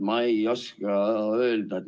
Ma ei oska öelda ...